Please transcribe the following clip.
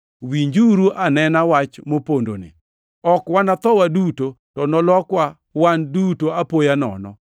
Winjuru anena wach mopondoni: Ok wanatho waduto, to nolokwa wan duto apoya nono